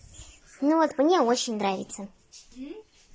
ну вот мне очень нравится